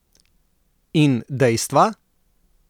In dejstva?